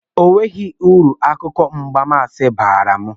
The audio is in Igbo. Enweghị uru akụkọ mgbansi baara m